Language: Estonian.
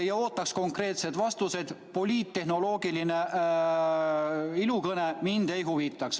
Ja ootan teilt ka konkreetseid vastuseid, poliittehnoloogiline ilukõne mind ei huvita.